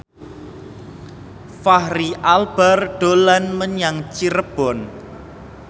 Fachri Albar dolan menyang Cirebon